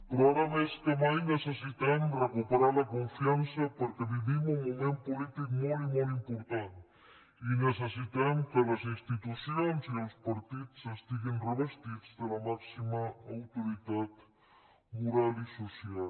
però ara més que mai necessitem recuperar la confiança perquè vivim un moment polític molt i molt important i necessitem que les institucions i els partits estiguin revestits de la màxima autoritat moral i social